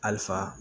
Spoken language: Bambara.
Halisa